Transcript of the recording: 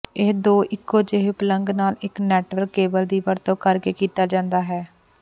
ਇਹ ਦੋ ਇੱਕੋ ਜਿਹੇ ਪਲਗ ਨਾਲ ਇੱਕ ਨੈਟਵਰਕ ਕੇਬਲ ਦੀ ਵਰਤੋਂ ਕਰਕੇ ਕੀਤਾ ਜਾਂਦਾ ਹੈ